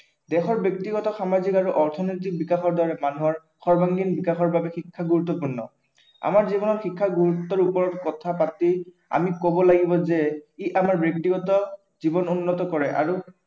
দেশৰ ব্য়ক্তিগত, সামাজিক আৰু অৰ্থনৈতিক বিকাশৰ দ্বাৰা মানুহৰ সবাৰ্ঙ্গীন বিকাশৰ বাবে শিক্ষা গুৰুত্বপূৰ্ণ। আমাৰ জীৱনত শিক্ষাৰ গুৰুত্বৰ ওপৰত কথা পাতি আমি কব লাগিব যে ই আমাৰ ব্য়ক্তিগত জীৱন উন্নত কৰে আৰু